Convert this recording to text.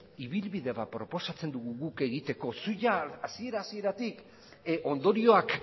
ibilbide bat proposatzen dugu guk egiteko zu jada hasiera hasieratik ondorioak